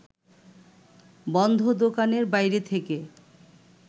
বন্ধ দোকানের বাইরে থেকে